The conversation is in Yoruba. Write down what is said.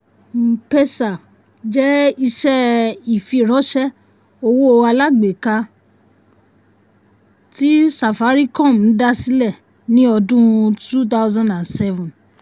m-pesa jẹ́ iṣẹ́ ìfiránṣẹ́ owó alágbèéká um um tí safaricom um dá sílẹ̀ ní ọdún two thousand seven.